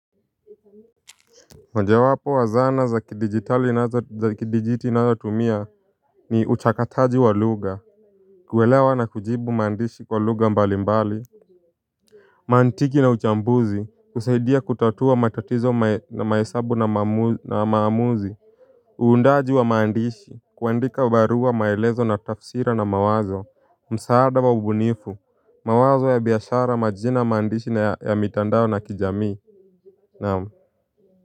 Moja wapo wa zana za kidigitali za kidijiti nazo tumia ni uchakataji wa lugha. Kuelewa na kujibu maandishi kwa lugha mbali mbali. Mantiki na uchambuzi usaidia kutatua matatizo na maesabu na maamuzi. Uundaji wa mandishi kuandika barua maelezo na tafsira na mawazo. Msaada wa ubunifu mawazo ya biashara majina maandishi na ya mitandao na kijamii naam.